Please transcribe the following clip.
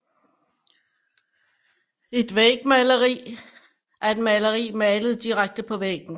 Et vægmaleri er et maleri malet direkte på væggen